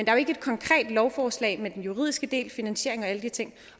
er jo ikke et konkret lovforslag med den juridiske del finansiering og alle de ting